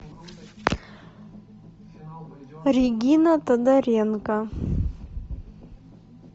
регина тодоренко